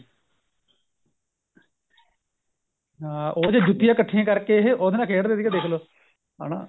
ਹਾਂ ਉਹ ਤੇ ਜੁੱਤੀਆਂ ਕੱਠੀਆ ਕਰ ਕੇ ਉਹਦੇ ਨਾਲ ਖੇਡਦੇ ਸੀਗੇ ਦੇਖਲੋ ਹਨਾ